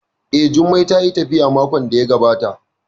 Eh, Jummai tayi tafiya makon da ya gabata